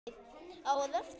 Á að refsa fyrir vinnu?